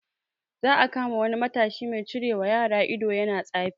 Za a kama wani matashi mai cirewa yara ido yana tsafi